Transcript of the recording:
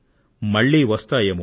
మళ్లీ వస్తుంది ఏమో